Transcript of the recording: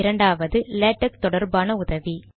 இரண்டாவது லேடக் தொடர்பான உதவி